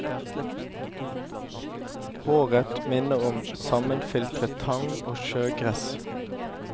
Håret minner om sammenfiltret tang og sjøgress.